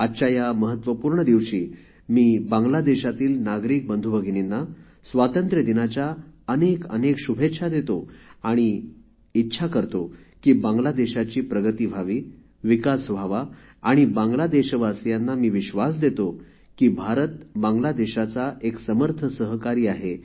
आजच्या या महत्वपूर्ण दिवशी मी बांगलादेशातील नागरिक बंधुभगिनींना स्वातंत्र्य दिनाच्या अनेकअनेक शुभेच्छा देतो आणि अशी इच्छा करतो की बांगलादेशाची प्रगती व्हावी विकास व्हावा बांगलादेशवासियांना मी विश्वास देतो की भारत बांगलादेशाचा एक समर्थ सहकारी आहे